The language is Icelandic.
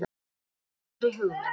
Þessari hugmynd